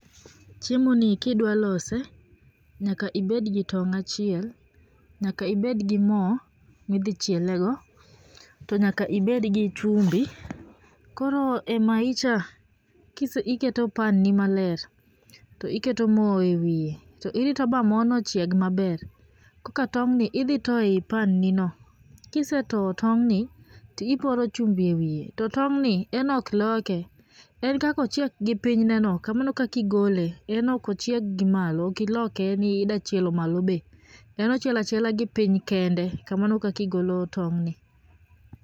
Chiemo ni kidwa lose nyaka ibed gi tong' achiel, nyaka ibed gi mo ma idhi chiele go. To nyaka ibed gi chumbi. Koro e mayicha iketo pan ni maler, to iketo mo ewiye to irito ma morno chieg maber koka tong'ni idhi itoyo ei pan nino, kise toyo tong'ni to iporo chumbi ewiye to tong'ni en ok loke. En kaka ochiek gi piny neno, kamano e kaka igole en ok ochieg gi malo ok iloke ni idwa chielo malo be, en ochielo achiela gipiny kende, kamano e kaka igolo tong'ni.